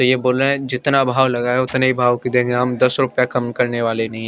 ये बोले जितना भाव लगया है उतने भाव की देंगे हम दस रुपए कम करने वाले नहीं है।